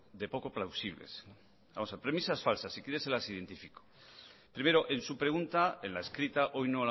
de poco plausibles premisas falsas si quiere se las identifico primero en su pregunta en la escrita hoy